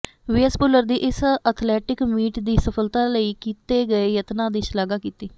VS Bhullar ਦੀ ਇਸ athletic meet ਦੀ ਸਫਲਤਾ ਲਈ ਕੀਤੇ ਗਏ ਯਤਨਾ ਦੀ ਸ਼ਲਾਘਾ ਕੀਤੀ